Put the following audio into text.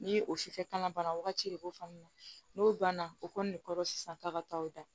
Ni o sufɛ kalan bana wagati de b'o faamuya n'o banna o kɔni de kɔnɔ sisan k'a ka taa o da